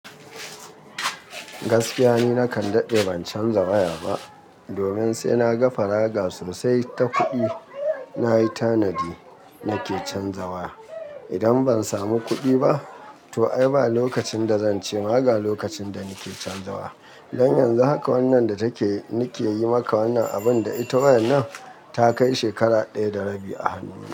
Gaskiya ne nakan daɗe ban canza waya ba, domin sai naga faraga sosai ta kuɗi nayi tanadi nake canzawa. Idan ban samu kuɗi ba, to ai ba lokacin da zanci ma ga lokacin da nake canzawa. Don yanzu haka wannan da take nike yi maka wannan abun da ita wayar nan ta kai shekara ɗaya da rabi a hannu.